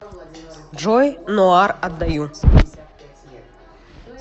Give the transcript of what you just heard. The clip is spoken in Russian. джой ноар отдаю